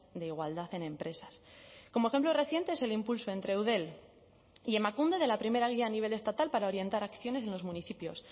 de igualdad en empresas como ejemplos recientes el impulso entre eudel y emakunde de la primera guía a nivel estatal para orientar acciones en los municipios